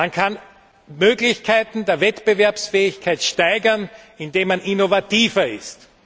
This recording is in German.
Man kann Möglichkeiten der Wettbewerbsfähigkeit steigern, indem man innovativer